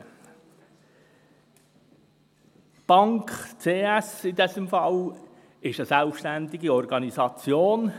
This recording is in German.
Die Bank CS, in diesem Fall, ist eine selbstständige Organisation.